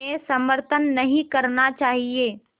में समर्थन नहीं करना चाहिए